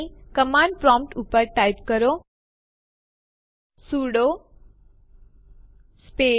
તે એક અલગ ડિરેક્ટરીમાં ફાઈલોના જૂથને પણ ખસેડી શકે છે